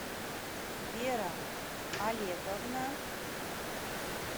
вера олеговна